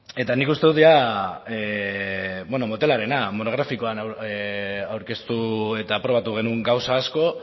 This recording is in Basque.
eta nik uste dut jada motelarena monografikoan aurkeztu eta aprobatu genuen gauza asko